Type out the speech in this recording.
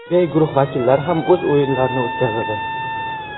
B guruhi vakillari ham o‘z o‘yinlarini o‘tkazadi.